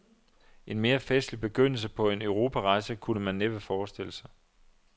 En mere festlig begyndelse på en europarejse kunne man næppe forestille sig.